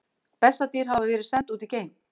Bessadýr hafa verið send út í geim!